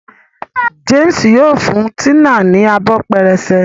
James yíò fún Tina ní Abọ́ pẹrẹsẹ.